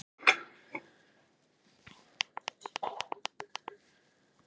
Það var því mikilvægt að það þekktist á búningi sínum og ytra útliti.